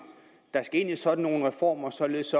skal ind i sådan nogle reformer således